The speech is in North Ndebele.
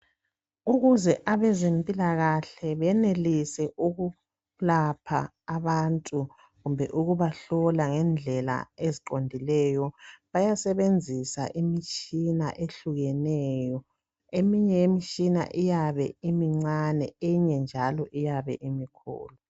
Ukuze abezempilakahle benelise ukulapha abantu kumbe ukubahlola ngendlela eziqondileyo bayasebenzisa imitshina ehlukeneyo eminye ye mitshina iyabe imincane eminye njalo iyabe imikhulu.